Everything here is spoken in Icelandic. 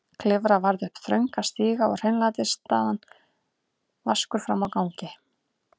Klifra varð upp þrönga stiga og hreinlætisaðstaðan vaskur frammi á gangi.